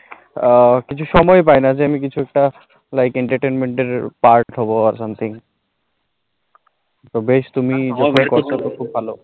আ কিছু সময় পাইনা যে আমি কিছু টা like entertainment part হবো, something বেশ তুমি